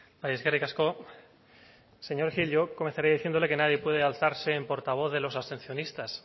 bai eskerrik asko señor gil yo comenzaré diciéndole que nadie puede alzarse en portavoz de los abstencionistas